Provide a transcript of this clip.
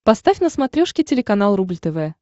поставь на смотрешке телеканал рубль тв